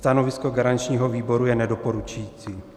Stanovisko garančního výboru je nedoporučující.